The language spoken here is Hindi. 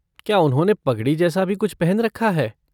क्या उन्होंने पगड़ी जैसा भी कुछ पहन रखा है?